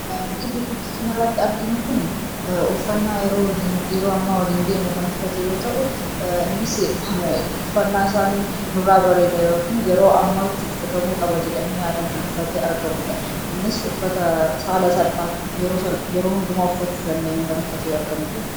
wanti suuraa irratti argamu kun uffannaa yeroo ammaa waliin deemu kan uffate yoo ta'e, uffannaan isaa irraa bareeda yeroo ammaatti uffatamuu qaba jedhamee kan uffatee argamudha. Innis uffata haala salphaan yeroo salphaan uffachuu dandeenyu kan uffatee jirudha.